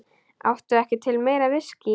Áttu ekki til meira viskí?